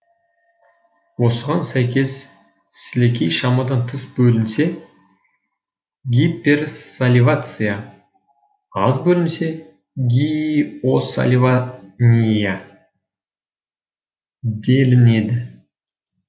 осыған сәйкес сілекей шамадан тыс бөлінсе гиперсаливация аз бөлінсе гииосаливаңия делінеді